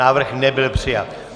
Návrh nebyl přijat.